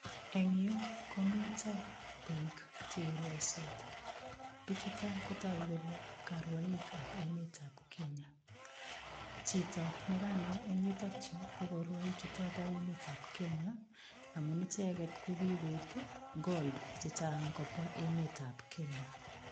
Eng yu ko mito biik che irwaisot, biichuto kotagu kole karwaikab emetab Kenya. Chito ne kanai eng yutok yu korwoik chutobo emetab Kenya amun icheget ko kigoip gold che chang kobwa emetab Kenya.